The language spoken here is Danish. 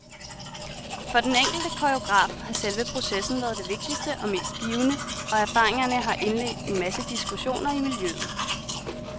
For den enkelte koreograf har selve processen været det vigtigste og mest givende, og erfaringerne har indledt en masse diskussioner i miljøet.